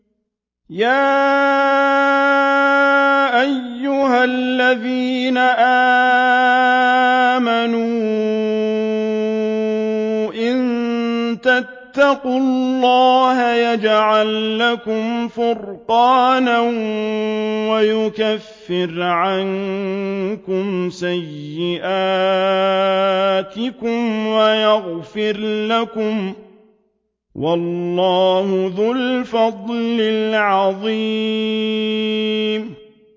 يَا أَيُّهَا الَّذِينَ آمَنُوا إِن تَتَّقُوا اللَّهَ يَجْعَل لَّكُمْ فُرْقَانًا وَيُكَفِّرْ عَنكُمْ سَيِّئَاتِكُمْ وَيَغْفِرْ لَكُمْ ۗ وَاللَّهُ ذُو الْفَضْلِ الْعَظِيمِ